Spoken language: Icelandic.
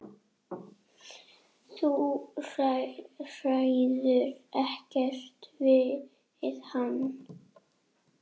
Þú ræður ekkert við hann.